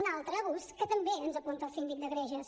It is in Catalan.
un altre abús que també ens apunta el síndic de greuges